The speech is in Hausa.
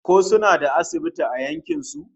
Ko suna da asibiti a yankin su?